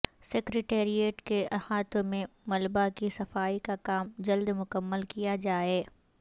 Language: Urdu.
سکریٹریٹ کے احاطہ میں ملبہ کی صفائی کا کام جلد مکمل کیا جائے